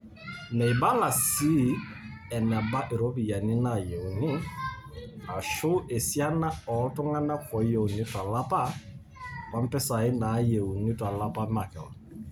Meibala sii eneba ropiyiani nayeuni , ashu esiana ooltung'nak oyeuni tolapa, ompisai nayeuni tolapa makeon.